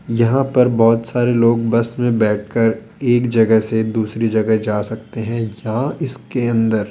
यहां पर बहोत सारे लोग बस में बैठकर एक जगह से दूसरी जगह जा सकते है जहां इसके अंदर --